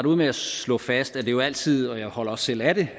ud med at slå fast at det jo altid og jeg holder også selv af det